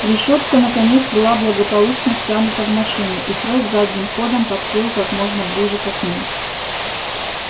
решётка наконец была благополучно втянута в машину и фред задним ходом подплыл как можно ближе к окну